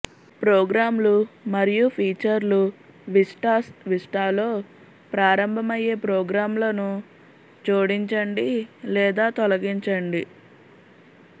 ప్రోగ్రామ్లు మరియు ఫీచర్లు విస్టాస్ విస్టాలో ప్రారంభమయ్యే ప్రోగ్రామ్లను జోడించండి లేదా తొలగించండి